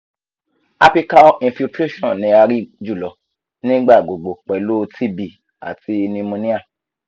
apical infiltration ni a rii julọ nigbagbogbo pẹlu tb ati pneumonia